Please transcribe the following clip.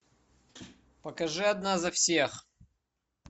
покажи одна за всех